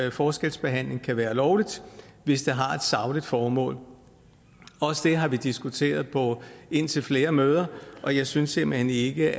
at forskelsbehandling kan være lovligt hvis det har et sagligt formål også det har vi diskuteret på indtil flere møder og jeg synes simpelt hen ikke